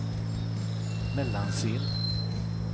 Mellansel